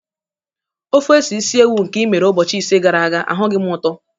Ofe ose isi ewu nke i mere ụbọchị ise gara aga, ahụghị m ụtọ